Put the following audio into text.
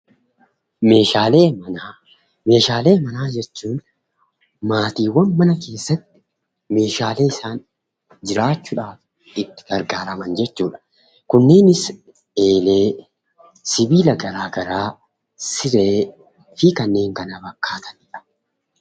Meeshaalee Manaa Meeshaalee manaa jechuun maatiiwwan mana keessatti Meeshaalee isaan jiraachuudhaaf itti gargaaraman jechuu dha. Kunninis eelee, sibiila garaagaraa, silee fi kanneen kana fakkaatani dha.